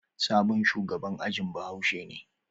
Sabon shugaban ajin bahaushe ne.